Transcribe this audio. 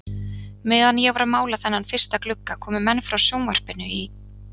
Meðan ég var að mála þennan fyrsta glugga komu menn frá sjónvarpinu í